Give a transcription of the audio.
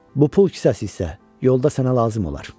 Bu pul kisəsi isə yolda sənə lazım olar.